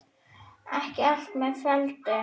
Ekki allt með felldu